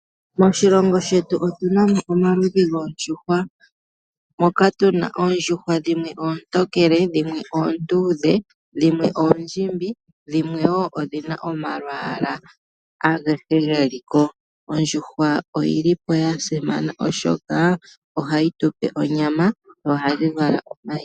Moshilongo shetu otuna mo omaludhi goondjuhwa moka tuna oondjuhwa dhimwe oontokele, dhimwe oonduudhe, dhimwe oondjimbi, dhimwe wo odhina omalwaala agehe geli ko. Ondjuhwa oyili po ya simana oshoka ohayi tupe onyama nohadhi vala omayi.